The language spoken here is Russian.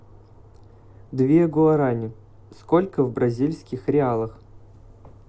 две гуарани сколько в бразильских реалах